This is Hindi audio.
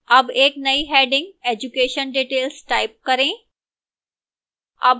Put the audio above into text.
अब एक now heading education details type करें